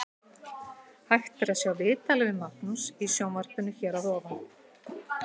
Hægt er að sjá viðtalið við Magnús í sjónvarpinu hér að ofan.